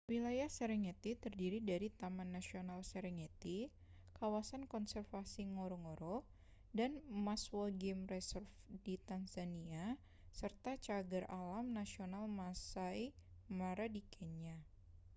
wilayah serengeti terdiri dari taman nasional serengeti kawasan konservasi ngorongoro dan maswa game reserve di tanzania serta cagar alam nasional maasai mara di kenya